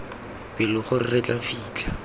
pelo gore re tla fitlha